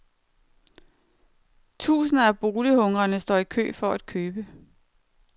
Tusinder af bolighungrende står i kø for at købe.